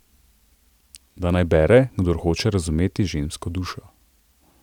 Da naj bere, kdor hoče razumeti žensko dušo?